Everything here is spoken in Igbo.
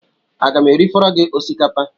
Aga m erifọrọ gị osikapa?